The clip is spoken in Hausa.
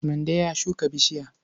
Mande ya shuka bishiya.